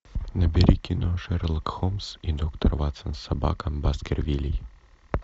набери кино шерлок холмс и доктор ватсон собака баскервилей